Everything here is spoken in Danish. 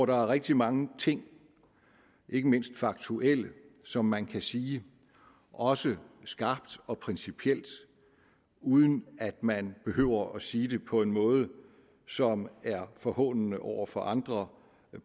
der er rigtig mange ting ikke mindst faktuelle som man kan sige også skarpt og principielt uden at man behøver at sige det på en måde som er forhånende over for andre